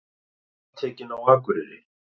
Handtekin á Akureyri